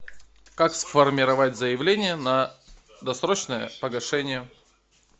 как сформировать заявление на досрочное погашение